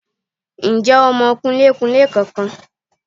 Ǹ jẹ́ o mọ kunlékunlé kan kan